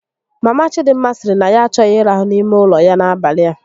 Mama Chidịmma sịrị na ya achọghị ịrahu n'ime ụlọ ya n'abalị a